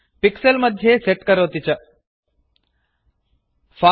pixels मध्ये set करोति च नियोजयति च